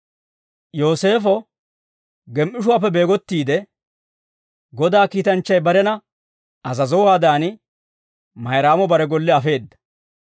Yooseefo gem"ishuwaappe beegottiide, Godaa kiitanchchay barena azazowaadan, Mayraamo bare golle afeedda.